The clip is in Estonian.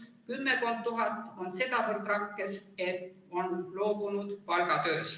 Kümmekond tuhat on sedavõrd rakkes, et on loobunud palgatööst.